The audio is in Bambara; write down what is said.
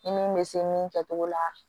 Ni min bɛ se min kɛ togo la